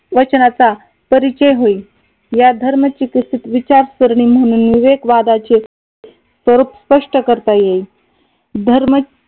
वचनाचा परिचय होईल. या धर्माचिकित्सेत विचारसरणी म्हणून विवेक वादाचे स्वरूप स्पष्ट करता येईल. धर्म